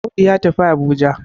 Audu ya tafi Abuja